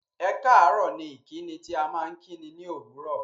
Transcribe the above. Ẹ̀káàárọ̀ ni ìkíni tí à maa n kíni ní òwúró